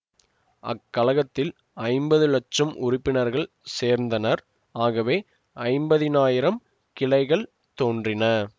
அக்கழகத்தில் ஐம்பது இலட்சம் உறுப்பினர்கள் சேர்ந்தனர் ஆகவே ஐம்பதினாயிரம் கிளைகள் தோன்றின